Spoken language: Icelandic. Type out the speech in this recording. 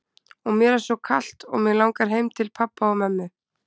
Og mér er svo kalt og mig langar heim til pabba og mömmu.